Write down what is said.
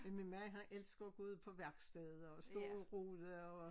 Men min mand han elsker at gå ud på værkstedet og stå og rode og